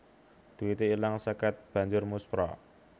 Duite ilang seket banjur muspra